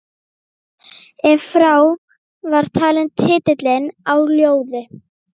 Ef frá var talinn titillinn á ljóði